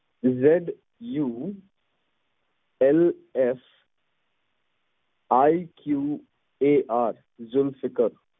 ZULFIQAR Zulfiqar